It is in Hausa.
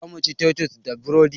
Zamu ci taitus da burodi